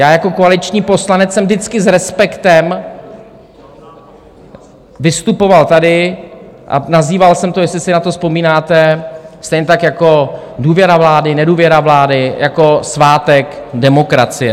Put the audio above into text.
Já jako koaliční poslanec jsem vždycky s respektem vystupoval tady a nazýval jsem to, jestli si na to vzpomínáte, stejně tak jako důvěra vlády, nedůvěra vlády, jako svátek demokracie.